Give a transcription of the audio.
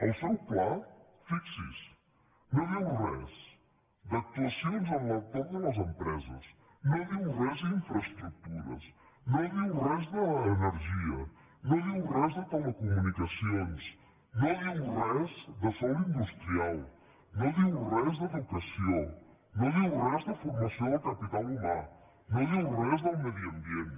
el seu pla fixi s’hi no diu res d’actuacions a l’entorn de les empreses no diu res d’infraestructures no diu res d’energia no diu res de telecomunicacions no diu res de sòl industrial no diu res d’educació no diu res de formació del capital humà no diu res del medi ambient